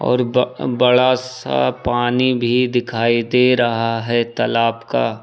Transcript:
और ब बड़ा सा पानी भी दिखाई दे रहा है तालाब का।